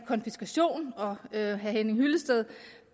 konfiskation og herre henning hyllested